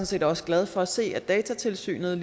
set også glad for at se at datatilsynet